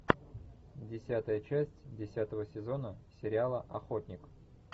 десятая часть десятого сезона сериала охотник